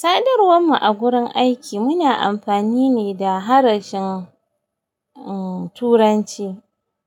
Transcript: Sadarwar mu a gurin aiki muna amfani ne da harshen, uh, Turanci